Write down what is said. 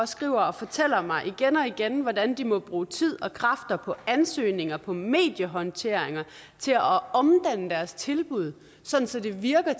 skriver og fortæller mig igen og igen hvordan de må bruge tid og kræfter på ansøgninger på mediehåndtering til at omdanne deres tilbud så det virker